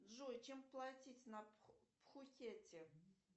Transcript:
джой чем платить на пхукете